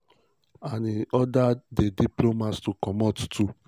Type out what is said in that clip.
and im order di diplomats to comot too.